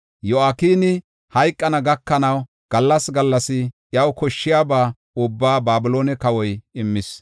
Yo7akini hayqana gakanaw, gallas gallas iyaw koshshiyaba ubbaa Babiloone kawoy immis.